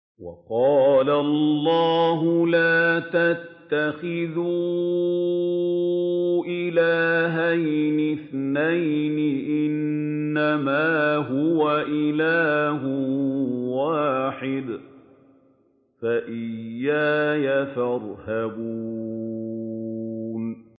۞ وَقَالَ اللَّهُ لَا تَتَّخِذُوا إِلَٰهَيْنِ اثْنَيْنِ ۖ إِنَّمَا هُوَ إِلَٰهٌ وَاحِدٌ ۖ فَإِيَّايَ فَارْهَبُونِ